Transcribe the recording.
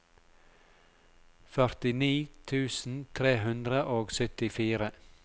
førtini tusen tre hundre og syttifire